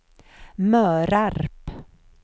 Mörarp